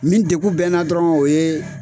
Min degun bɛ n na dɔrɔn o ye